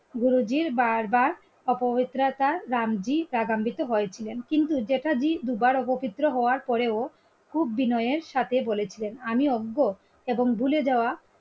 গুরুজির বারবার অপবিত্রতা রামজি হয়েছিলেন কিন্ত জ্যাঠাজি দুবার অপবিত্র হওয়ার পরেও খুব বিনয়ের সাথে বলেছিলেন আমি অজ্ঞ এবং ভুলে যাওয়া